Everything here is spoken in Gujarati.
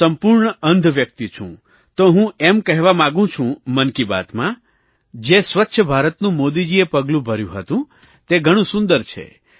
હું સંપૂર્ણ અંધ વ્યક્તિ છું તો હું એમ કહેવા માગું છું મન કી બાતમાં જે સ્વચ્છ ભારતનું મોદીજીએ પગલું ભર્યું હતું તે ઘણું સુંદર છે